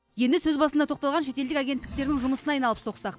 енді сөз басында тоқталған шетелдік агенттіктердің жұмысына айналып соқсақ